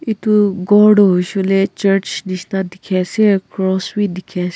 etu ghor tuh hoishe hoile church neshina dekhe ase aro cross bhi dekhe ase.